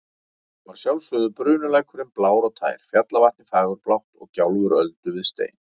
Og að sjálfsögðu bunulækurinn blár og tær, fjallavatnið fagurblátt og gjálfur öldu við stein.